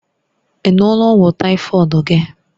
Ị ṅụọla ọgwụ tàífọ̀d gị?